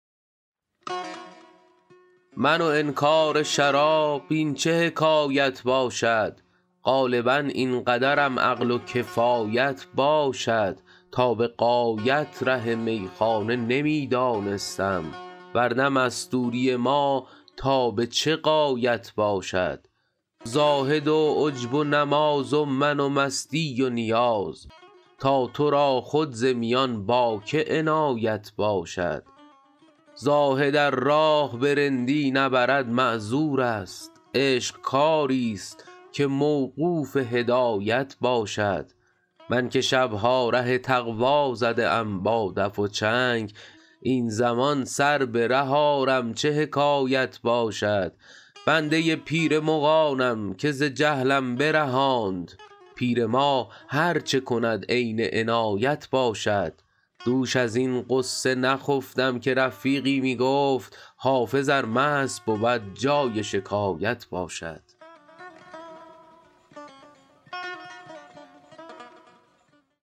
من و انکار شراب این چه حکایت باشد غالبا این قدرم عقل و کفایت باشد تا به غایت ره میخانه نمی دانستم ور نه مستوری ما تا به چه غایت باشد زاهد و عجب و نماز و من و مستی و نیاز تا تو را خود ز میان با که عنایت باشد زاهد ار راه به رندی نبرد معذور است عشق کاری ست که موقوف هدایت باشد من که شب ها ره تقوا زده ام با دف و چنگ این زمان سر به ره آرم چه حکایت باشد بنده پیر مغانم که ز جهلم برهاند پیر ما هر چه کند عین عنایت باشد دوش از این غصه نخفتم که رفیقی می گفت حافظ ار مست بود جای شکایت باشد